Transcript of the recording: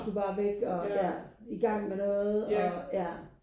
Du skulle bare væk og ja i gang med noget og ja